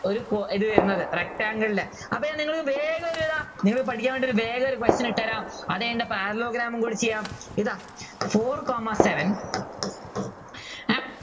ഒരു കോ ഇത് വരുന്നത് rectangle ലെ അപ്പോൾ ഞാൻ നിങ്ങൾക്ക് വേഗം ഒരു ഇതാ ഇനിയിപ്പോൾ പഠിക്കാൻ വേണ്ടി ഒരു വേഗം ഒരു question ഇട്ട് തരാം അതുകഴിഞ്ഞിട്ട് parallelogram കൂടി ചെയ്യാം ഇതാ four comma seven